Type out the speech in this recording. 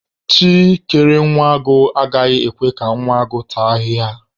Chi kere nwa agụ, agaghị ekwe ka nwa agụ taa ahịhịa.